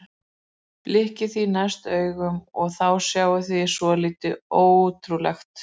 Blikkið því næst augunum og þá sjáið þið svolítið ótrúlegt.